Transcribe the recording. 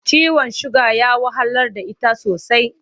Ciwon suga ya wahalar da ita sosai.